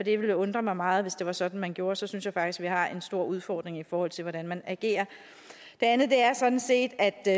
det ville undre mig meget hvis det var sådan man gjorde så synes jeg faktisk at vi har en stor udfordring i forhold til hvordan man agerer det andet er sådan set at det